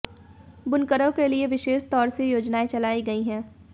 बुनकरों के लिए विशेष तौर से योजनाएं चलाई गई है